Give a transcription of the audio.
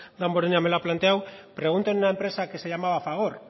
damborenea me lo ha planteado pregunten en una empresa que se llamaba fagor